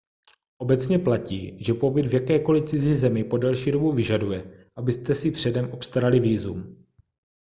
obecně platí že pobyt v jakékoli cizí zemi po delší dobu vyžaduje abyste si předem obstarali vízum